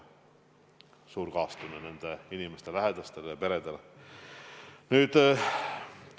Suur kaastunne nende inimeste lähedastele ja peredele!